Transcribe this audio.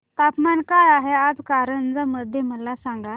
तापमान काय आहे आज कारंजा मध्ये मला सांगा